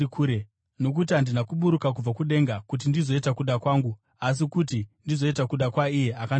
Nokuti handina kuburuka kubva kudenga kuti ndizoita kuda kwangu asi kuti ndizoita kuda kwaiye akandituma.